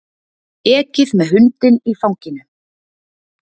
Ekið með hundinn í fanginu